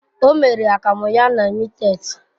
O mere akamu ya na mittet.